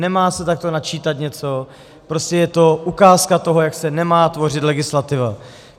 Nemá se takto načítat něco, prostě je to ukázka toho, jak se nemá tvořit legislativa.